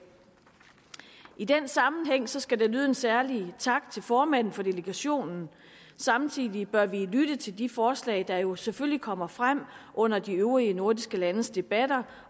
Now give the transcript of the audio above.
i den sammenhæng skal der lyde en særlig tak til formanden for delegationen samtidig bør vi lytte til de forslag der jo selvfølgelig kommer frem under de øvrige nordiske landes debatter